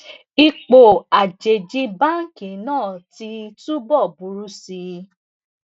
ipò àjèjì báńkì náà ti túbọ buru si